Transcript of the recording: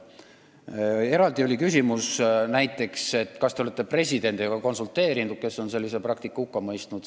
Meil oli eraldi küsimus, kas te olete näiteks konsulteerinud presidendiga, kes on sellise praktika hukka mõistnud.